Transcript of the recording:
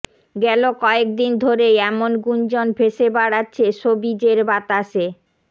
গেল কয়েকদিন ধরেই এমন গুঞ্জন ভেসে বেড়াচ্ছে শোবিজের বাতাসে